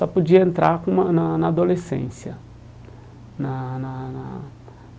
Só podia entrar com uma na na adolescência na na na.